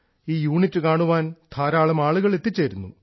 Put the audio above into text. ഈ യൂണിറ്റ് കാണാൻ ധാരാളം ആളുകൾ എത്തിച്ചേരുന്നു